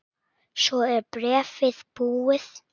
Svo er bréfið búið